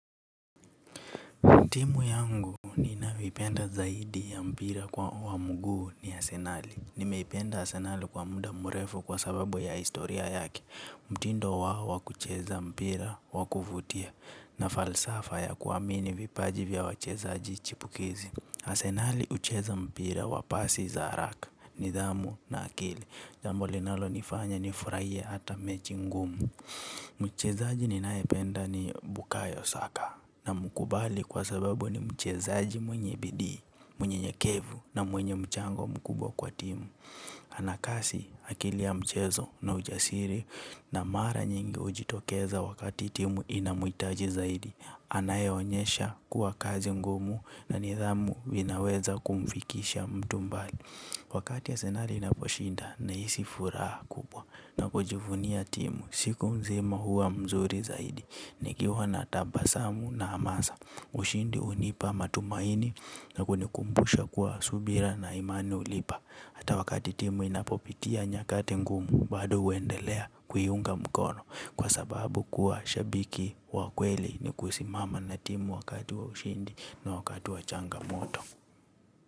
Timu yangu ni navipenda zaidi ya mpira kwa wamugu ni asenali. Nimeipenda asenali kwa muda murefu kwa sababu ya historia yaki. Mutindo wa wakucheza mpira wakuvutia na falsafa ya kuamini vipaji vya wachezaaji chipukizi. Arsenali hucheza mpira wa pasi za haraka nidhamu na akili. Jambo linalo nifanya ni furaie hata mechi ngumu. Mchezaji ni naependa ni bukayo saka namkubali kwa sababu ni mchezaji mwenye bidii, mwenye nyekevu na mwenye mchango mkubwa kwa timu. Anakasi akilia mchezo na ujasiri na mara nyingi ujitokeza wakati timu inamuitaji zaidi. Anaye onyesha kuwa kazi ngumu na nidhamu inaweza kumfikisha mtu mbali. Wakati ya senari inaposhinda na isi furaha kubwa na pojivunia timu siku mzima huwa mzuri zaidi. Nikiwa na tabasamu na amasa ushindi unipa matumaini na kunikumbusha kuwa subira na imani ulipa. Hata wakati timu inapopitia nyakate ngumu badu wendelea kuyunga mkono kwa sababu kuwa shabiki wa kweli ni kusimama na timu wakati wa ushindi na wakati wa changamoto.